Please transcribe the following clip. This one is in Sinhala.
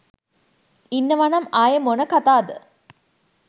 ඉන්නවනම් ආයේ මොන කතාද